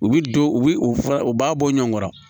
U bi don u bi u fura u b'a bɔ ɲɔgɔn kɔrɔ